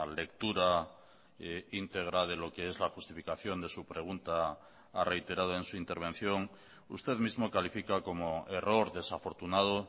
lectura íntegra de lo que es la justificación de su pregunta ha reiterado en su intervención usted mismo califica como error desafortunado